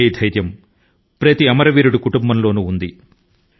ఇదే విధమైన భావన ప్రతి అమరవీరుని కుటుంబం లోనూ కనిపించింది